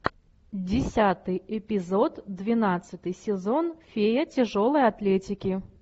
десятый эпизод двенадцатый сезон фея тяжелой атлетики